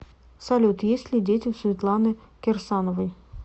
салют есть ли дети у светланы кирсановой